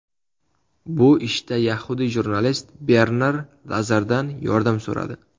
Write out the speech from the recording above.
Bu ishda yahudiy jurnalist Bernar Lazardan yordam so‘radi.